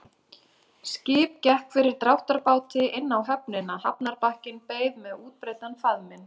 Skip gekk fyrir dráttarbáti inn á höfnina, hafnarbakkinn beið með útbreiddan faðminn.